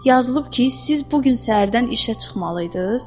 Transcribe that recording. Yazılıb ki, siz bu gün səhərdən işə çıxmalıydınız.